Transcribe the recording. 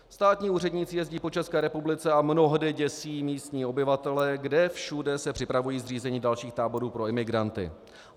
Státní úředníci jezdí po České republice a mnohdy děsí místní obyvatele, kde všude se připravuje zřízení dalších táborů pro imigranty.